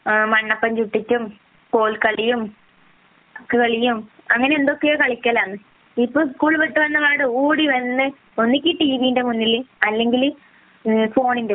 മണ്ണപ്പം ചുട്ടിട്ടും കൊൽക്കളിയും അങ്ങനെ എന്തൊക്കെയോ കളിക്കലാണ് ഇപ്പം സ്കൂൾ വിട്ടിട്ട് ഓടി വന്നിട്ടു ഒന്നുകിൽ ടീവിക്ക് മുന്നിൽ അല്ലെങ്കിൽ ഫോണിന്റെ മുന്നിൽ